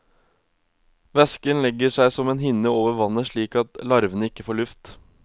Væsken legger seg som en hinne over vannet slik at larvene ikke får luft.